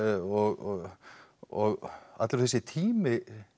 og og allur þessi tími